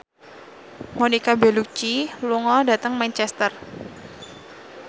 Monica Belluci lunga dhateng Manchester